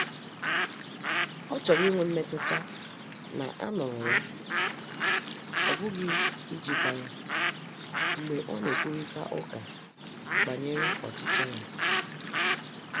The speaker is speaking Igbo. Ọ chọrọ inwe mmetụta na a nụ̀rụ ya,ọ bụghi ijikwa ya, mgbe ọ na-ekwurịta ụka banyere ọchichọ ya.